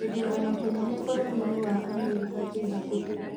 gĩthurano kĩnene bũrũrinĩ wa Amerika kĩ hakuhĩ